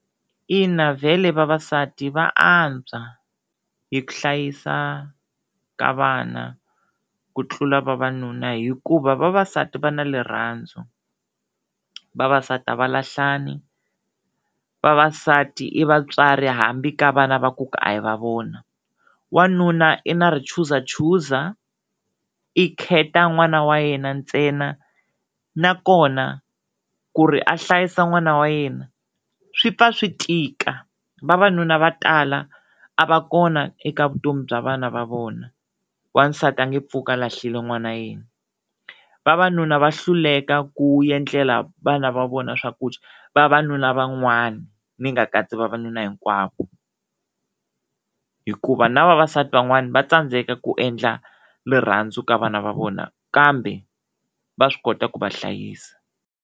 Ina vhele vavasati va antswa hi ku hlayisa ka vana ku tlula vavanuna hikuva vavasati va na rirhandzu, vavasati a va lahlani, vavasati i vatswari hambi ka vana va ku a hi va vona, wanuna i na richuzachuza i khetha n'wana wa yena ntsena nakona ku ri a hlayisa n'wana wa yena swi pfa swi tika, vavanuna va tala a va kona eka vutomi bya vana va vona, wansati a nge pfuki a lahlile n'wana yena, vavanuna va hluleka ku endlela vana va vona swakudya vavanuna van'wana ni nga katsi vavanuna hinkwavo hikuva na vavasati van'wana va tsandzeka ku endla rirhandzu ka vana va vona kambe va swi kota ku va hlayisa.